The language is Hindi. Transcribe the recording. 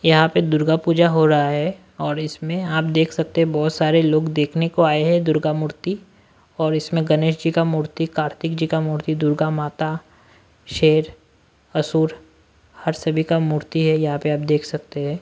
यहां पे दुर्गा पूजा हो रहा है और इसमें आप देख सकते हैंबहुत सारे लोग देखने को आए हैंदुर्गा मूर्ति और इसमें गणेश जी का मूर्ति कार्तिक जी का मूर्ति दुर्गा माता शेर असुर हर सभी का मूर्ति हैयहां पे आप देख सकते हैं।